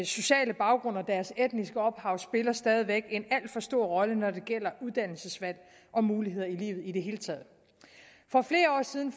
sociale baggrund og deres etniske ophav spiller stadig væk en alt for stor rolle når det gælder uddannelsesvalg og muligheder i livet i det hele taget for flere år siden